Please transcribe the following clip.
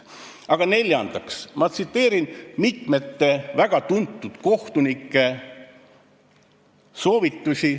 Aga neljandaks tsiteerin ma mitme väga tuntud kohtuniku soovitusi ...